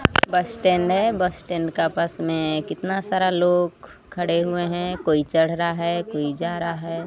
बस स्टैंड है bus stand का पास में कितना सारा लोग खड़े हुए हैं कोई चढ़ रहा है कोई जा रहा है।